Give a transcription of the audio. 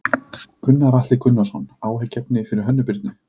Gunnar Atli Gunnarsson: Áhyggjuefni fyrir Hönnu Birnu?